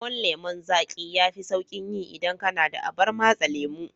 Lemon lemon zaƙi yafi sauƙin yi idan kana da abar matse lemo.